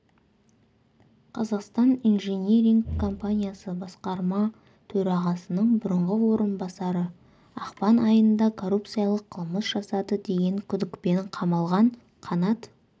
қазақстан инжиниринг компаниясы басқарма төрағасының бұрынғы орынбасары ақпан айында коррупциялық қылмыс жасады деген күдікпен қамалған қанат